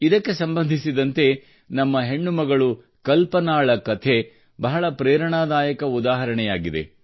ಇದಕ್ಕೆ ಸಂಬಂಧಿಸಿದಂತೆ ನಮ್ಮ ಹೆಣ್ಣು ಮಗಳು ಕಲ್ಪನಾಳ ಕಥೆ ಬಹಳ ಪ್ರೇರಣಾದಾಯಕ ಉದಾಹರಣೆಯಿದೆ